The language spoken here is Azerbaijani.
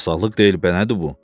Sarsaqlıq deyil bənədi bu.